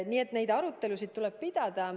Nii et neid arutelusid tuleb pidada.